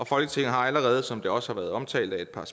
folketinget har allerede som det også har været omtalt af et par